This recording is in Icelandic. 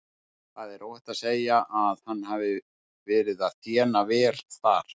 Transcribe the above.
Það er óhætt að segja að hann hafi verið að þéna vel þar.